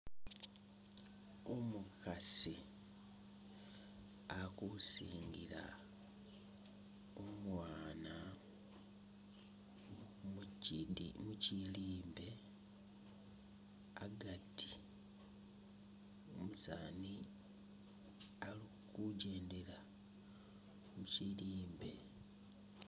Umukhaasi ali kusingila umwaana mu chidi muchilimbe agati, umusaani ali kujendela muchilimbe